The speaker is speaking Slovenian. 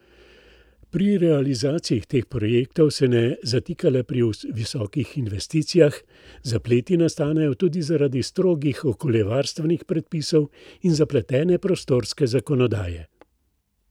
Pri realizaciji teh projektov se ne zatika le pri visokih investicijah, zapleti nastanejo tudi zaradi strogih okoljevarstvenih predpisov in zapletene prostorske zakonodaje.